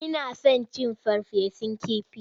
Ina son cin farfesun kifi.